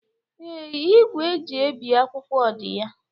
Ee, igwe eji ebi akwụkwọ di ya.